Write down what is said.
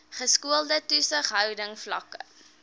geskoolde toesighouding vlakke